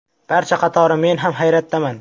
Barcha qatori men ham hayratdaman.